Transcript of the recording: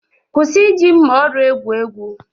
kwụsị iji mma oru egwu egwu!